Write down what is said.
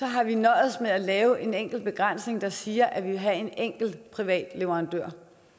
har vi nøjes med at lave en enkelt begrænsning der siger at vi vil have en enkelt privat leverandør